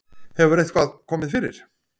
Hefur eitthvað. komið fyrir?